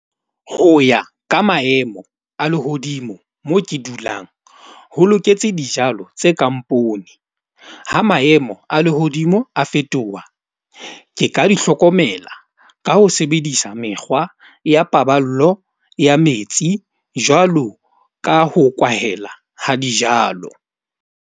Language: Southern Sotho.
Ho ya ka maemo a lehodimo, mo ke dulang ho loketse dijalo tse kang poone. Ha maemo a lehodimo a fetoha ke ka di hlokomela ka ho sebedisa mekgwa ya paballo ya metsi, jwalo ka ho kwahela ha dijalo.